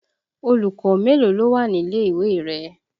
Olùkọ́ mélòó ló wà nílé ìwé rẹ?